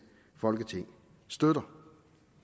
folketing støtter